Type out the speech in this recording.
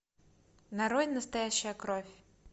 нарой настоящая кровь